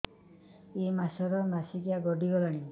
ଏଇ ମାସ ର ମାସିକିଆ ଗଡି ଗଲାଣି